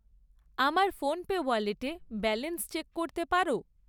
আমার ফোনপে ওয়ালেটে balance check করতে পারো?